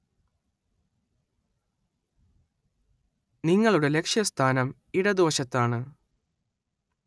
നിങ്ങളുടെ ലക്ഷ്യസ്ഥാനം ഇടതുവശത്താണ്.